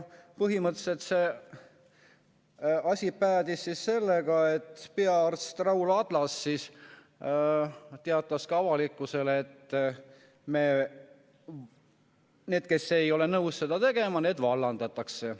Põhimõtteliselt päädis asi sellega, et peaarst Raul Adlas teatas avalikkusele, et need, kes ei ole nõus seda tegema, vallandatakse.